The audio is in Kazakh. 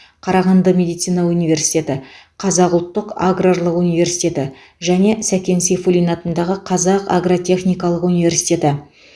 қарағанды медицина университеті қазақ ұлттық аграрлық университеті және сәкен сейфуллин атындағы қазақ агротехникалық университеті